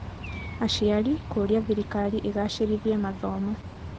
Aciari kũũria Thirikari ĩgacĩrithie mathomo